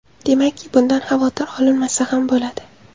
Demakki, bundan xavotir olinmasa ham bo‘ladi.